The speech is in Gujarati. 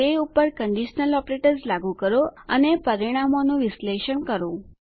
તે પર કંડીશનલ ઓપરેટર્સ લાગું કરો અને પરિણામોનું વિશ્લેષણ કરો